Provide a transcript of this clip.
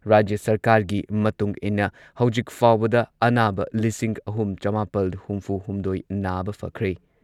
ꯔꯥꯖ꯭ꯌ ꯁꯔꯀꯥꯔꯒꯤ ꯃꯇꯨꯡ ꯏꯟꯅ ꯍꯧꯖꯤꯛ ꯐꯥꯎꯕꯗ ꯑꯅꯥꯕ ꯂꯤꯁꯤꯡ ꯑꯍꯨꯝ ꯆꯃꯥꯄꯜ ꯍꯨꯝꯐꯨꯍꯨꯝꯗꯣꯏ ꯅꯥꯕ ꯐꯈ꯭ꯔꯦ꯫